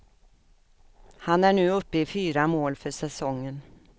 Han är nu uppe i fyra mål för säsongen.